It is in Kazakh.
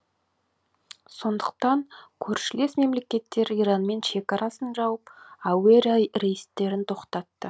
сондықтан көршілес мемлекеттер иранмен шекарасын жауып әуе рейстерін тоқтатты